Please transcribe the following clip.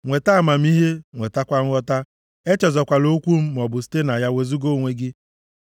Nweta amamihe, nwetakwa nghọta, echezọkwala okwu m, maọbụ site na ya wezuga onwe gị.